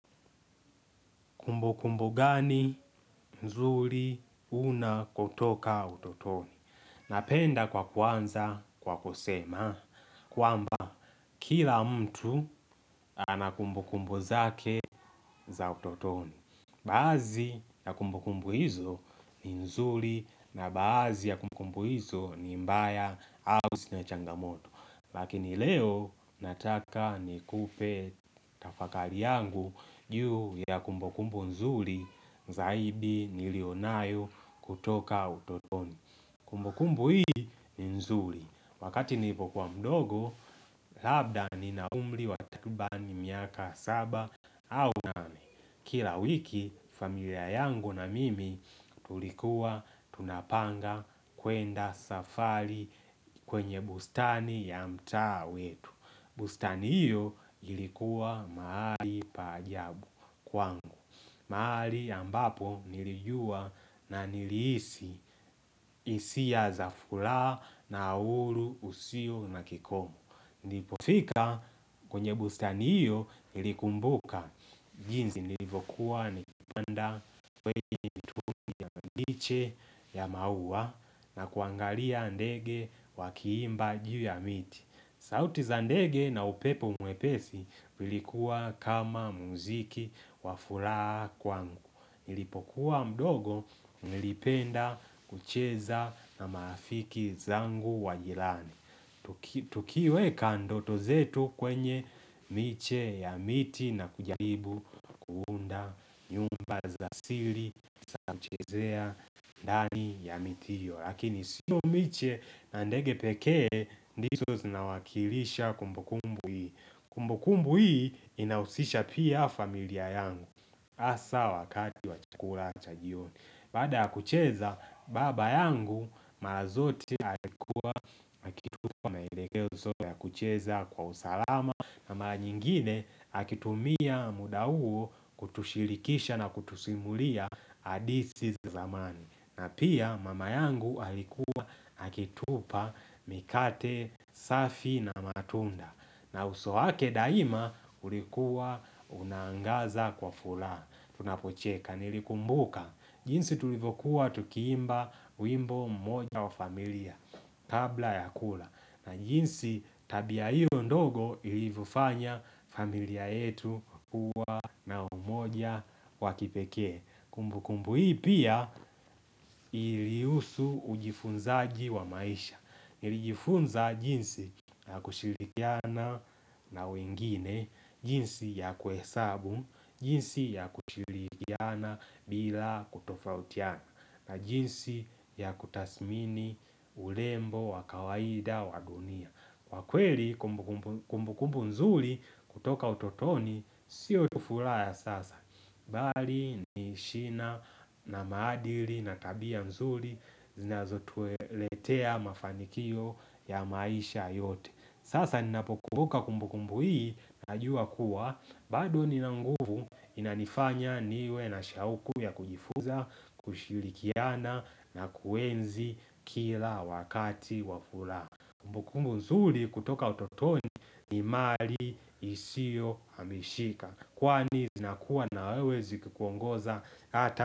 Kumbukumbu gani nzuri unako toka utotoni? Napenda kwa kuanza kwa kusema, kwamba kila mtu ana kumbukumbu zake za utotoni. Baadhi ya kumbukumbu hizo ni nzuri na baadhi ya kumbukumbu hizo ni mbaya au zina changamoto. Lakini leo nataka nikupe tafakari yangu juu ya kumbukumbu nzuri zaidi nilio nayo kutoka utotoni. Kumbukumbu hii ni nzuri. Wakati nilipokuwa mdogo, labda nina umri wa takriban miaka saba au nane. Kila wiki familia yangu na mimi tulikuwa tunapanga kwenda safari kwenye bustani ya mtaa wetu. Bustani hiyo ilikuwa mahali pa ajabu kwangu. Mahali ambapo nilijua na nilihisi hisia za furaha na uhuru usio na kikomo. Nilipofika kwenye bustani hiyo nilikumbuka jinsi nilivyokuwa nikipanda kwenye kituo liche ya maua na kuangalia ndege wakiimba juu ya miti. Sauti za ndege na upepo mwepesi ulikuwa kama muziki wa furaha kwangu. Nilipokuwa mdogo nilipenda kucheza na marafiki zangu wa jirani. Tukiweka ndoto zetu kwenye miche ya miti na kujaribu kuunda nyumba za siri za kuchezea ndani ya miti hiyo. Lakini sio miche na ndege pekee ndizo zinawakilisha kumbukumbu hii. Kumbukumbu hii inahusisha pia familia yangu. Hasa wakati wa chakula cha jioni. Baada ya kucheza baba yangu mara zote alikuwa akitupa maelekezo ya kucheza kwa usalama na mara nyingine akitumia muda huo kutushirikisha na kutusimulia hadithi za zamani. Na pia mama yangu alikuwa akitupa mikate, safi na matunda. Na uso wake daima ulikuwa unaangaza kwa furaha Tunapocheka nilikumbuka jinsi tulivyokuwa tukiimba wimbo mmoja wa familia Kabla ya kula na jinsi tabia hiyo ndogo ilivyofanya familia yetu kuwa na umoja wa kipekee. Kumbukumbu hii pia ilihusu ujifunzaji wa maisha. Ilijifunza jinsi ya kushirikiana na wengine. Jinsi ya kuhesabu, jinsi ya kushirikiana bila kutofautiana na jinsi ya kutathmini urembo, wa kawaida, wa dunia Kwa kweli kumbukumbu nzuri kutoka utotoni sio tu furaha sasa Bali ni shina na maadili na tabia nzuri zinazotuletea mafanikio ya maisha yote. Sasa ninapokumbuka kumbukumbu hii najua kuwa bado nina nguvu inanifanya niwe na shauku ya kujifuza, kushirikiana na kuenzi kila wakati wa furaha Kumbukumbu nzuri kutoka utotoni ni mali isiyo hamishika Kwani zinakuwa na wewe zikikuongoza hata.